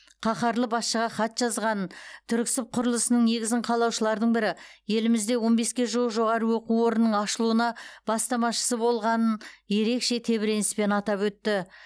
қаһарлы басшыға хат жазғанын түрксіб құрылысының негізін қалаушылардың бірі елімізде он беске жуық жоғары оқу орнының ашылуына бастамашы болғанын ерекше тебіреніспен атап өтті